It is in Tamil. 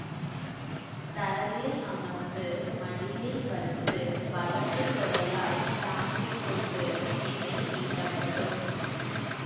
தரையில் அமர்ந்து மடியில் வைத்து வலது தொடையால் தாங்கிக்கொண்டு வீணை மீட்டப்படும்